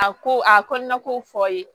A ko a kɔnɔna ko fɔ ye